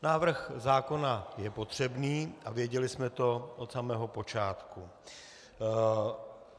Návrh zákona je potřebný a věděli jsme to od samého počátku.